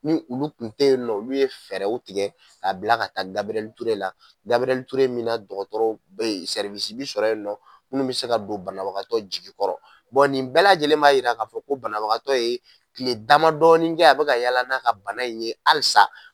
Ni olu tun tɛ yen nɔ, olu ye fɛɛrɛw tigɛ ka bila ka taa Gabriel Ture la, Gabriel Ture min na dɔgɔtɔrɔ bɛ yen sɔrɔ yen nɔ munnu bɛ se ka don banabagatɔ jigikɔrɔ nin bɛɛ lajɛlen ba jira k'a fɔ ko banabagatɔ ye tile damadɔɔni kɛ a bɛ ka yaala n'a ka bana in ye halisa.